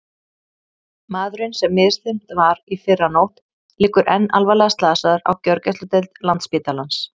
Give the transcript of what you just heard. Maðurinn sem misþyrmt var í fyrrinótt liggur enn alvarlega slasaður á gjörgæsludeild Landspítalans.